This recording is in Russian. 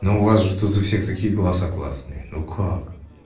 ну у вас же тут у всех такие голоса классные ну как